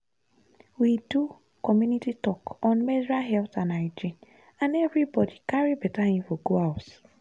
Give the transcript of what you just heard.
we do community talk on menstrual health and hygiene and everybody carry better info go house.